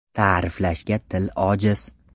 Ta’riflashga til ojiz.